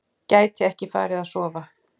Gæti ekki farið að sofa.